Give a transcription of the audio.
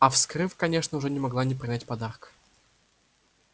а вскрыв конечно уже не могла не принять подарка